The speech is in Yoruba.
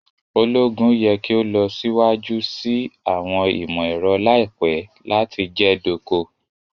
Ologun yẹ ki o lọ siwaju si awọn imọ-ẹrọ laipẹ lati jẹ doko